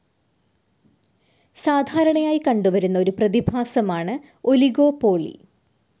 സാധാരണയായി കണ്ടുവരുന്ന ഒരു പ്രതിഭാസമാണ് ഒലിഗോപോളി.